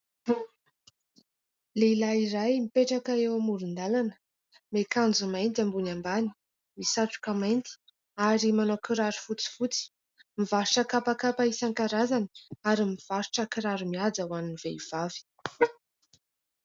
Lehilahy iray mipetraka eo amoron-dàlana, miakanjo mainty ambony ambany, misatroka mainty ary manao kiraro fotsifotsy, mivarotra kapakapa isan-karazany ary mivarotra kiraro mihaja ho an'ny vehivavy.